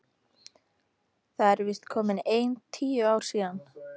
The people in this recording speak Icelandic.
Það eru víst komin ein tíu ár síðan.